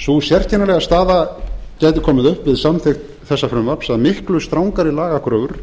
sú sérkennilega staða gæti komið upp við samþykkt þessa frumvarps að miklu strangari lagakröfur